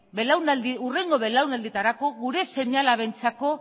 hurrengo belaunaldietarako gure seme alabentzako